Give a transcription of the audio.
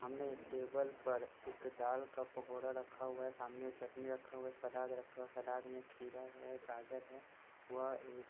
हमने एक टेबल पर एक दाल का पकोडा रखा हुआ है सामने चटनी रखा हुआ है सलाद रखा हुआ है सलाद मे खीरा है गाज़र है वह इ--